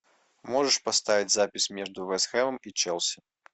можешь поставить запись между вест хэмом и челси